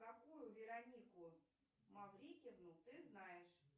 какую веронику маврикину ты знаешь